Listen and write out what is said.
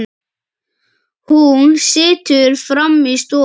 Hún situr frammi í stofu.